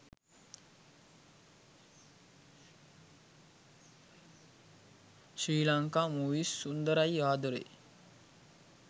sri lanka movies sundarai adare